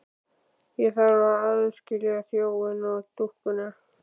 Ég þarf að aðskilja þjófinn og dúkkuna.